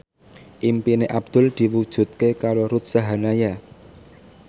impine Abdul diwujudke karo Ruth Sahanaya